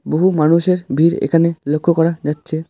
বহু মানুষের ভিড় এখানে লক্ষ করা যাচ্ছে।